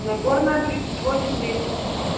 нагорная тридцать восемь десять